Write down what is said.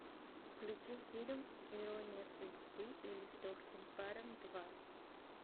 включи фильм ирония судьбы или с легким паром два